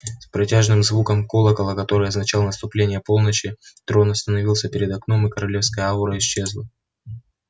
с протяжным звуком колокола который означал наступление полночи трон остановился перед окном и королевская аура исчезла